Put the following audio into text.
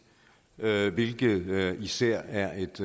hvilket især er et